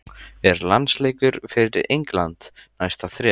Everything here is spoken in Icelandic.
Er landsleikur fyrir England næsta þrep?